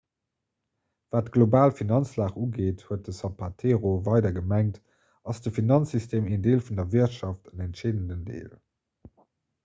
wat d'global finanzlag ugeet huet den zapatero weider gemengt ass de finanzsystem een deel vun der wirtschaft en entscheedenden deel